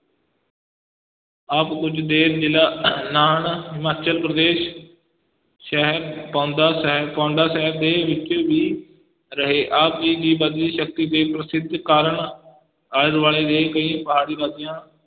ਆਪ ਕੁਝ ਦੇਰ, ਜ਼ਿਲਾ ਨਾਹਨ, ਹਿਮਾਚਲ ਪ੍ਰਦੇਸ਼ ਸ਼ਹਿਰ ਪਾਉਂਦਾ ਸਾਹਿਬ ਪਾਉਂਦਾ ਸਾਹਿਬ ਦੇ ਵਿੱਚ ਵੀ ਰਹੇ, ਆਪ ਜੀ ਦੀ ਵਧਦੀ ਸ਼ਕਤੀ ਤੇ ਪ੍ਰਸਿੱਧੀ ਕਾਰਣ ਆਲੇ ਦੁਆਲੇ ਦੇ ਕਈ ਪਹਾੜੀ ਰਾਜਿਆਂ